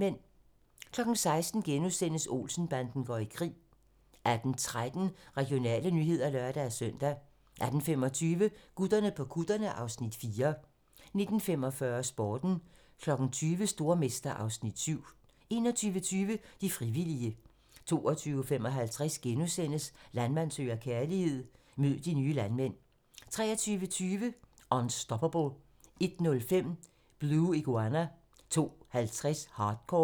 16:00: Olsen-banden går i krig * 18:13: Regionale nyheder (lør-søn) 18:25: Gutterne på kutterne (Afs. 4) 19:45: Sporten 20:00: Stormester (Afs. 7) 21:20: De frivillige 22:55: Landmand søger kærlighed - mød de nye landmænd * 23:20: Unstoppable 01:05: Blue Iguana 02:50: Hardcore